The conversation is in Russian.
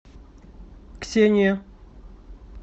ксения